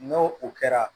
N'o o kɛra